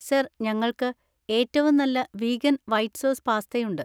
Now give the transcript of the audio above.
Sir, ഞങ്ങൾക്ക് ഏറ്റവും നല്ല വീഗൻ വൈറ്റ് സോസ് പാസ്തയുണ്ട്.